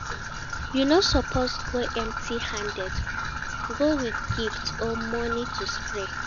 You no suppose go empty handed, go with gift or money to spray